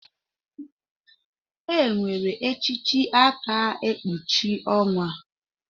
Enwere echichi aka ekpuchi onwa.